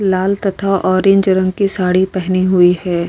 लाल तथा ऑरेंज रंग की साड़ी पहने हुई है।